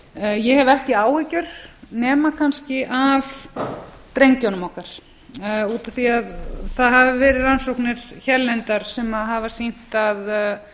ég hef ekki áhyggjur nema kannski að drengjunum okkar út af því að það hafa verið rannsóknir hérlendar sem hafa sýnt að